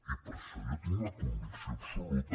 i per això jo tinc la convicció absoluta